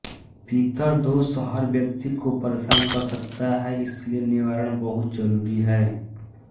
पितर दोष हर व्यक्ति को परेशान कर सकता है इसलिये निवारण बहुत जरूरी है